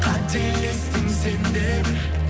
қателестің сен де бір